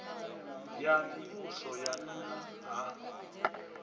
ya mivhuso ya nna ha